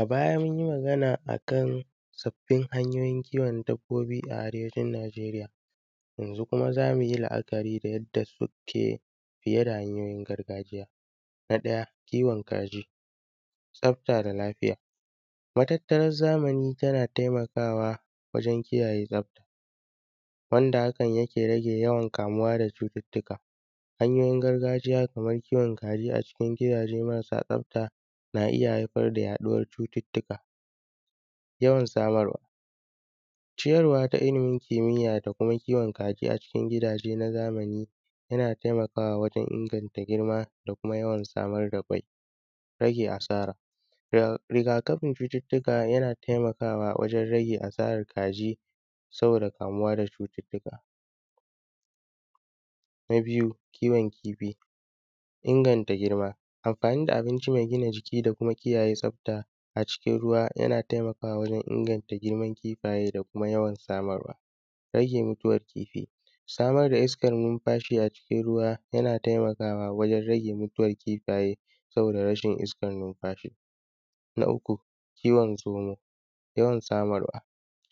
A baya mun yi magana akan sabbin hanyin kiwon dabbobi a arewacin Nijeria yanzun kuma za mu yi la’akari da yadda suke fiye da hanyoyi na gargajiya. Na ɗaya kiwon kaji, tsafta da lafiya matatttaran zamani tana taimakawa wajen kiyaye tsafta wanda hakan yake rage yawan kamuwa da cututtuka. Hanyoyin gargajiya kaman kiwon kaji a cikin gidaje marasa tsafta na iya haifar da yaɗuwar cututtuka, yawan samarwa, ciyarwa ta ilimin kimiyya da kuma kiwon kaji a cikin gidaje na zamani yana taimakawa wajen inganta girma da yawan samar da kwai, rage asara. Rigakafin cututtuka yana taimakawa wajen rage asarar kaji saboda kamuwa da cututtuka, na biyu kiwon kifi inganta girma amfani da abinci mai ginajiki da kuma kiyaye tsafta a cikin ruwa yana taimakawa wajen inganta girman kifaye da kuma yawar samarwa, yana rage yawan mutuwar kifi, samar da iskan numfashi, yana taimakawa wajen rage mutuwan kifaye saboda rashin iskan numfashi. Na uku kiwon zomo, yawan smaarwa,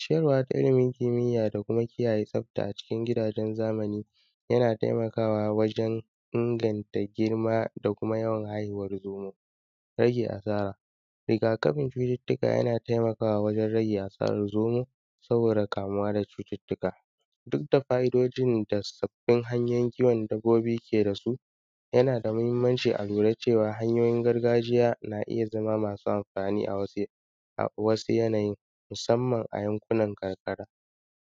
ciyarwa ta ilimi kimiyya da kuma kiyaye tsafta a cikin gidajen zamani yana taimakawa wajen inganta girma da kuma yawan haihuwar zomo, rage asara. Rigakafin cututuuka yana taimakawa wajen rage a sarar zomo, saboda kamuwa da cututtuka duk da fa’idojin da sabbin hanyoyin kiwon dabbobi ke da su yana da mahimmanci a lura cewa hanyoyin gargaajiya na iya zama masu amfani a wasu yanayin musamman a yankunan karkara.